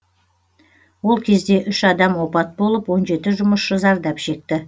ол кезде үш адам опат болып он жеті жұмысшы зардап шекті